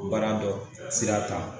Baara dɔ sira ta